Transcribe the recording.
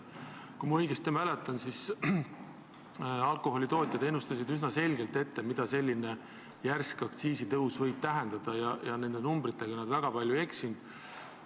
Kui ma õigesti mäletan, siis alkoholitootjad ennustasid üsna selgelt, mida järsk aktsiisitõus võib tähendada, ja nende numbritega nad väga palju ei eksinud.